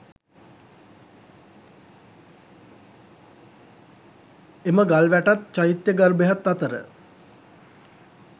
එම ගල් වැටත්, චෛත්‍ය ගර්භයත් අතර